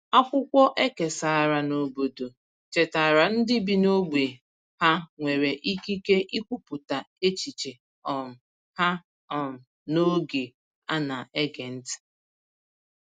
Akwụkwọ e kesàrà n’obodo chetaara ndị bi n’ógbè ha nwere ikike ikwupụta echiche um ha um n’oge a na-ege ntị.